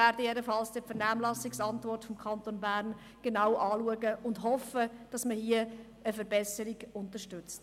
Wir werden die Vernehmlassungsantwort des Kantons Bern jedenfalls genau lesen und hoffen, dass man hier eine Verbesserung unterstützt.